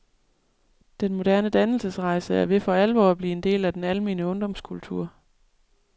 Den moderne dannelsesrejse er ved for alvor at blive en del af den almene ungdomskultur.